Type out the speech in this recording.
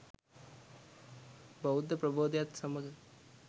බෞද්ධ ප්‍රබෝධයත් සමඟ